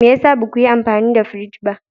Me ya sa ba ku yi amfani da firij ba?